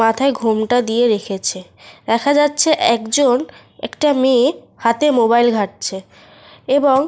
মাথায় ঘোমটা দিয়ে রেখেছে। দেখা যাচ্ছে একজন একটা মেয়ে হাতে মোবাইল ঘাঁটছে এবং।